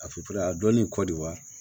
A filanin kɔ de wa